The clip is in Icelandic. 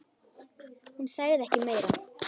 Hún sagði ekki meira.